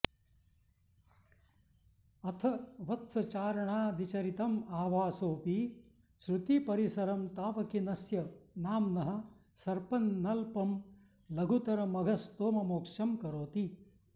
अथ वत्सचारणादिचरितं आभासोऽपि श्रुतिपरिसरं तावकीनस्य नाम्नः सर्पन्नल्पं लघुतरमघस्तोममोक्षं करोति